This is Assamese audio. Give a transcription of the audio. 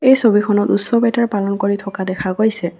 এই ছবিখনত উচ্ছৱ এটাৰ পালন কৰি থকা দেখা গৈছে।